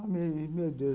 Ai, meu Deus do céu.